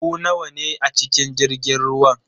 Ku nawa ne a cikin jirgin ruwan?